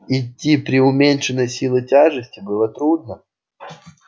идти при уменьшенной силе тяжести было трудно